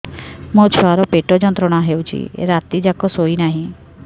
ମୋ ଛୁଆର ପେଟ ଯନ୍ତ୍ରଣା ହେଉଛି ରାତି ଯାକ ଶୋଇନାହିଁ